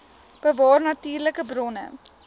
bewaar natuurlike bronne